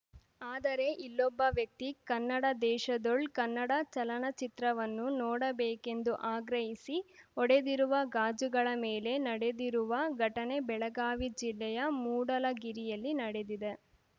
ಆದರೆ ಇಲ್ಲೊಬ್ಬ ವ್ಯಕ್ತಿ ಕನ್ನಡ ದೇಶದೋಳ್‌ ಕನ್ನಡ ಚಲನಚಿತ್ರವನ್ನು ನೋಡಬೇಕೆಂದು ಆಗ್ರಹಿಸಿ ಒಡೆದಿರುವ ಗಾಜುಗಳ ಮೇಲೆ ನಡೆದಿರುವ ಘಟನೆ ಬೆಳಗಾವಿ ಜಿಲ್ಲೆಯ ಮೂಡಲಗಿರಿಯಲ್ಲಿ ನಡೆದಿದೆ